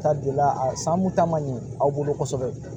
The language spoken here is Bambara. Ta donna a san kun ta man ɲɛ aw bolo kosɛbɛ